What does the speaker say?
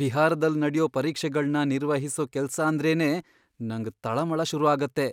ಬಿಹಾರದಲ್ ನಡ್ಯೋ ಪರೀಕ್ಷೆಗಳ್ನ ನಿರ್ವಹಿಸೋ ಕೆಲ್ಸಾಂದ್ರೇನೇ ನಂಗ್ ತಳಮಳ ಶುರುಆಗತ್ತೆ.